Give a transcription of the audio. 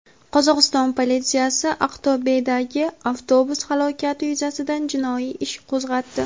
Qozog‘iston politsiyasi Aqto‘bedagi avtobus halokati yuzasidan jinoiy ish qo‘zg‘atdi.